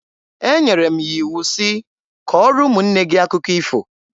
Enyere m ya iwu sị, "Kọọrọ ụmụnne gị akụkọ ifo!"